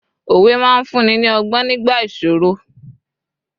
òwe ma n fún ni ni ogbon nigba ìṣòro